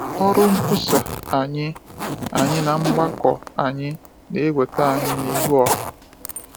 Ọrụ nkwusa anyị anyị na mgbakọ anyị na-eweta anyị n’ihu ọha.